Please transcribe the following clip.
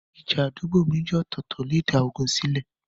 ìja àdúgbò méjì ọ̀tọ̀ọ̀tọ̀ lè dá ogun sílẹ̀.